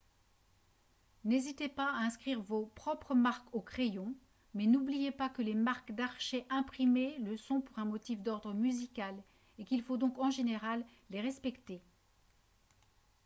n'hésitez pas à inscrire vos propres marques au crayon mais n'oubliez pas que les marques d'archet imprimées le sont pour un motif d'ordre musical et qu'il faut donc en général les respecter